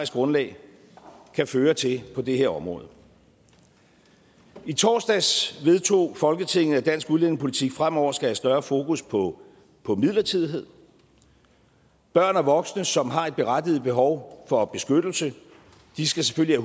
grundlag kan føre til på det her område i torsdags vedtog folketinget at dansk udlændingepolitik fremover skal have større fokus på på midlertidighed børn og voksne som har et berettiget behov for beskyttelse skal selvfølgelig